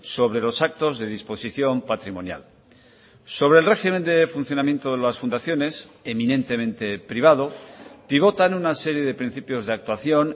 sobre los actos de disposición patrimonial sobre el régimen de funcionamiento de las fundaciones eminentemente privado pivotan una serie de principios de actuación